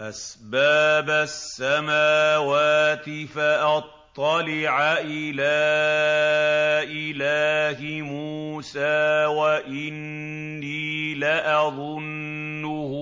أَسْبَابَ السَّمَاوَاتِ فَأَطَّلِعَ إِلَىٰ إِلَٰهِ مُوسَىٰ وَإِنِّي لَأَظُنُّهُ